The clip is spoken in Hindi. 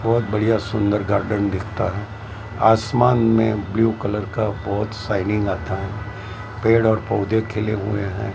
बहोत बढ़िया सुंदर गार्डन दिखता है आसमान में ब्ल्यू कलर का बहुत शाइनिंग आता हैं पेड़ और पौधे खिले हुए हैं।